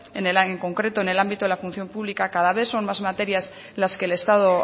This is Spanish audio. en concreto en el ámbito de la función pública cada vez son más materias las que el estado